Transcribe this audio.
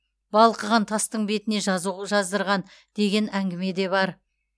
балқыған тастың бетіне жазу жаздырған деген әңгіме де бар